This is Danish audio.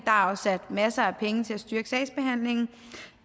er afsat masser af penge til at styrke sagsbehandlingen